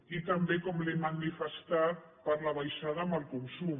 i també com li he manifestat per la baixada en el consum